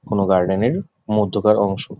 কোনো গার্ডেন -এর মধ্যকার অংশ।